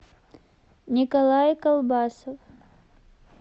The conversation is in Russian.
николай колбасов